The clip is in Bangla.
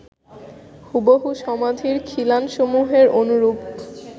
হুবহু সমাধির খিলানসমূহের অনুরূপ